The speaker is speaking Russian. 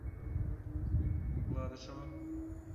гладышева